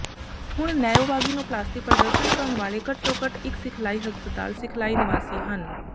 ਹੁਣ ਨੈਓਵਾਗਿਨੋਪਲਾਸਟੀ ਪ੍ਰਦਰਸ਼ਨ ਕਰਨ ਵਾਲੇ ਘੱਟੋ ਘੱਟ ਇੱਕ ਸਿਖਲਾਈ ਹਸਪਤਾਲ ਸਿਖਲਾਈ ਨਿਵਾਸੀ ਹਨ